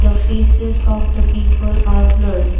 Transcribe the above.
the faces of the people are blurred.